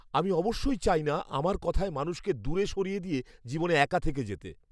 আমি অবশ্যই চাই না আমার কথায় মানুষকে দূরে সরিয়ে দিয়ে জীবনে একা থেকে যেতে!